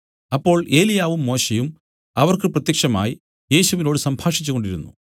അപ്പോൾ ഏലിയാവും മോശെയും അവർക്ക് പ്രത്യക്ഷമായി യേശുവിനോടു സംഭാഷിച്ചു കൊണ്ടിരുന്നു